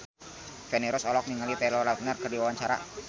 Feni Rose olohok ningali Taylor Lautner keur diwawancara